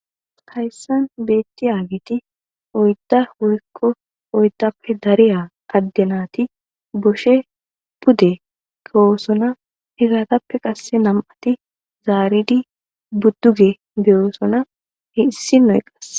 Hayssan beetiyageti oydda woykko oyddappe dariya adde naati bushe pude keyoosona. Izatoppe qasse nam7ati zaaridi duge be7oosona issi nay.